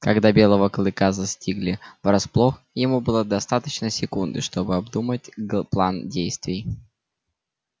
когда белого клыка застигли врасплох ему было достаточно секунды чтобы обдумать г план действий